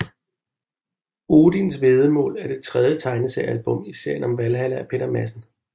Odisn væddemål er det tredje tegneseriealbum i serien om Valhalla af Peter Madsen